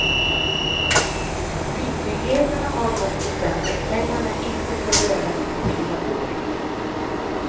Myndigheterna har dock bestämt att pengarna inte får röras på fyra år.